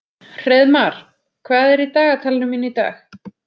Hreiðmar, hvað er í dagatalinu mínu í dag?